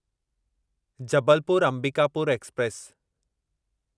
Jabalpur Ambikapur express